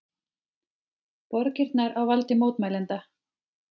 Borgirnar á valdi mótmælenda